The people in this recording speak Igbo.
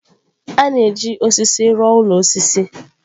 A na-eji osisi rụọ ụlọ osisi.